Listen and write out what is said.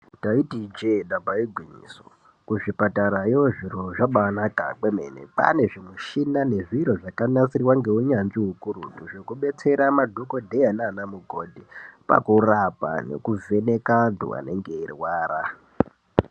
Ndaiti ijehe damba igwinyiso kuzvipatara iyoo zviro zvambainaka kwemene kwaane zvimushina nezviro zvakanasirwa ngeunyanzvu ukurutu zvekubetsera madhokoteya nanamukoti pakurapa nekuvheneka antu anenge eyirwara.